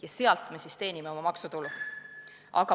Ja selle pealt me siis teenime oma maksutulu.